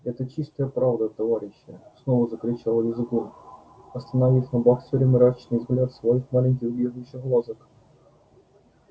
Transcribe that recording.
это чистая правда товарищи снова закричал визгун остановив на боксёре мрачный взгляд своих маленьких бегающих глазок